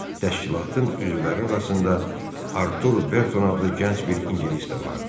Təşkilatın üzvləri arasında Artur Berton adlı gənc bir ingilis də vardı.